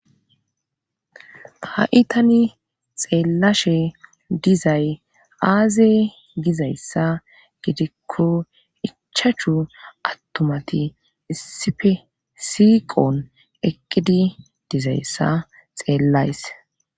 ha'i tani xeellashe dizay aaze gizayssa gidikko ichachu attumati issippe siiqon eqqidi dizayssa xeellays.